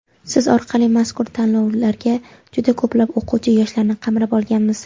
Siz orqali mazkur tanlovlarga juda ko‘plab o‘quvchi yoshlarni qamrab olganmiz.